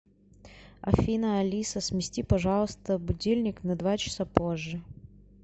афина алиса смести пожалуйста будильник на два часа позже